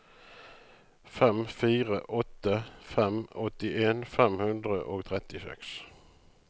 fem fire åtte fem åttien fem hundre og trettiseks